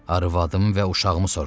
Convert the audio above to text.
Arvadım və uşağımı soruşuram.